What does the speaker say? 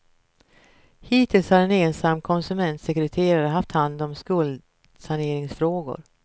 Hittills har en ensam konsumentsekreterare haft hand om skuldsaneringsfrågor.